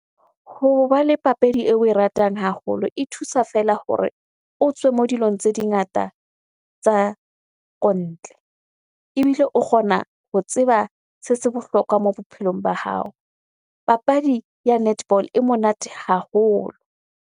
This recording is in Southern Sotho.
Hoba le papadi eo oe ratang haholo e thusa feela hore o tswe mo dilong tse dingata tsa kontle ebile o kgona ho tseba se se bohlokwa mo bophelong ba hao. Papadi ya netball e monate haholo.